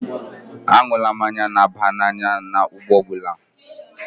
Aṅụla mmanya na-aba n'anya na-anya ụgbọ ala ọ bụla.